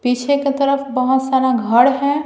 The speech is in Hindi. पीछे के तरफ बहुत सारा घर है।